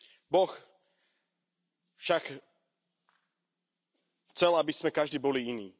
Boh však chcel, aby sme každí boli iní.